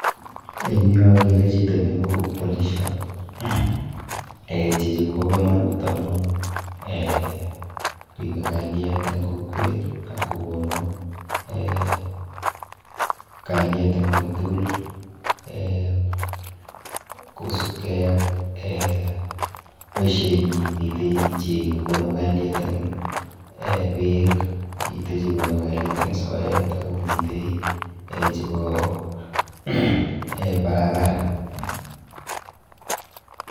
Eng yu akere chito neu polishot. Eh chichi kobo komonut amu eh ripe kalyet eng kokwet ak kokonu eh kalyet eng ui tukul eh kosupkei ak eh boisienyi. Mitei chekonu kalyet eng eh beek, mitei chekonu kalyet eng soet akomitei eh chepo barabara.